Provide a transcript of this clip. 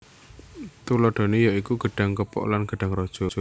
Tuladhané ya iku gedhang kepok lan gedhang raja